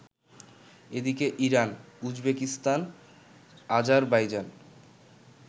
এদিকে Iran, Uzbekistan, Azerbaijan